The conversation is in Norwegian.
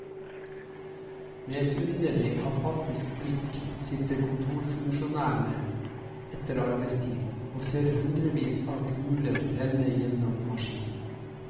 Med underlig, apatisk blikk sitter kontorfunksjonærene etter arbeidstid og ser hundrevis av kuler renne gjennom maskinen.